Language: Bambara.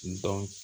N dɔn